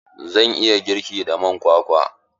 Zan iya girki da man kwakwa?